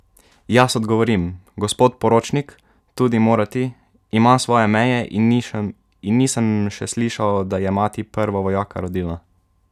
Jaz odgovorim: "Gospod poročnik, tudi "morati" ima svoje meje, in nisem še slišal, da je mati prvo vojaka rodila.